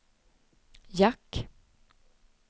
jack